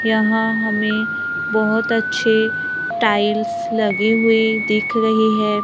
यहां हमें बहोत अच्छे टाइल्स लगे हुए दिख रही है।